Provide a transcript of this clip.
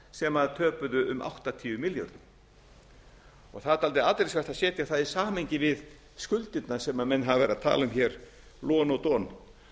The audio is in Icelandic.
sem töpuðu um áttatíu milljörðum það er dálítið athyglisvert að setja það í samhengi við skuldirnar sem menn hafa verið að tala um hér lon og don